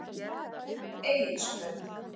Egilsbraut